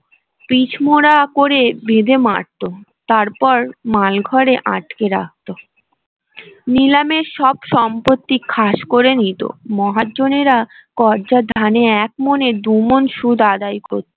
pitch মোরা করে ্বেঁধে মারত তার পর মালঘরে আটকে রাখতো নিলামের সব সম্পত্তি খাস করে নিত মহাজনেরা কর্যার ধানে এক মণের দু মণ সুদ আদায় করত